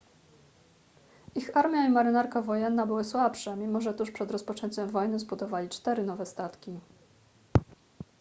ich armia i marynarka wojenna były słabsze mimo że tuż przed rozpoczęciem wojny zbudowali cztery nowe statki